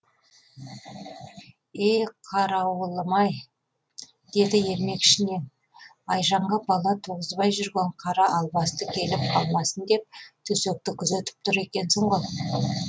е қарауылым ай деді ермек ішінен айжанға бала туғызбай жүрген қара албасты келіп қалмасын деп төсекті күзетіп тұр екенсің ғой